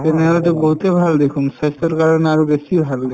তেনেহলেতো বহুতে ভাল দেখুন স্ৱাস্থ্যৰ কাৰণে আৰু বেছি ভাল